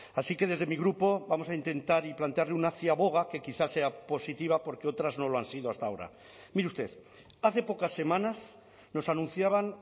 así que desde mi grupo vamos a intentar y plantearle una ciaboga que quizá sea positiva porque otras no lo han sido hasta ahora mire usted hace pocas semanas nos anunciaban